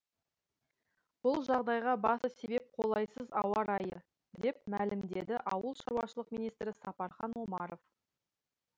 бұл жағдайға басты себеп қолайсыз ауа райы деп мәлімдеді ауылшаруашылық министрі сапархан омаров